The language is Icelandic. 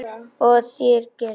Og það gera þeir.